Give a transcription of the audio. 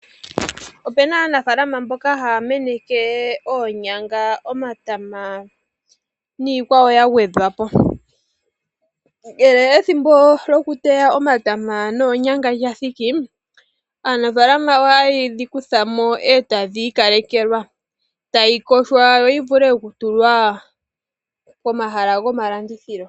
Opu na aanafalama mboka haya meneke omatama niikwawo ya gwedhwapo, ethimbo lyokuteya omatama nge lya thiki ohaye ga kuthamo etaga yogwa ga vule okutulwa pomahala gomalandithilo.